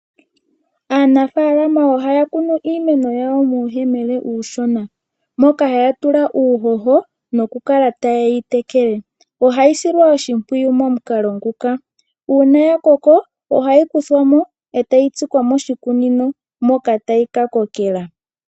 Aanafaalama ohaya kunu iimeno yawo muuyemele uushona moka haya tula uuhoho nokukala taye yi tekele. Ohaya silwa oshimpwiyu momukalo nguka: uuna ya koko ohayi kuthwa mo etayi tsikwa moshikunino moka tayi ka kokela.